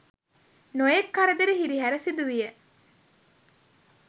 නොයෙක් කරදර හිරිහැර සිදුවිය.